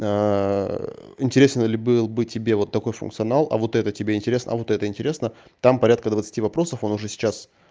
интересен ли был бы тебе вот такой функционал а вот это тебе интересно а вот это интересно там порядка двадцати вопросов он уже сейчас